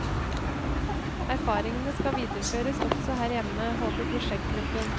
Erfaringene skal videreføres også her hjemme, håper prosjektgruppen.